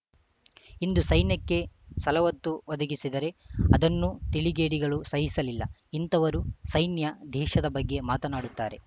ಇಂದು ಸೈನ್ಯಕ್ಕೆ ಸಲವತ್ತು ಒದಗಿಸಿದರೆ ಅದನ್ನೂ ತಿಳಿಗೇಡಿಗಳು ಸಹಿಸಲಿಲ್ಲ ಇಂಥವರು ಸೈನ್ಯ ದೇಶದ ಬಗ್ಗೆ ಮಾತನಾಡುತ್ತಾರೆ